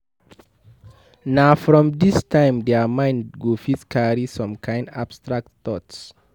Na from this time their mind go fit carry some kind abstract thought